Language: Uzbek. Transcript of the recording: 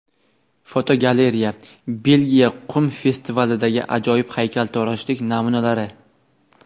Fotogalereya: Belgiya qum festivalidagi ajoyib haykaltaroshlik namunalari.